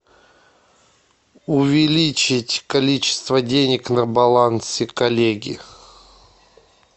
увеличить количество денег на балансе коллеги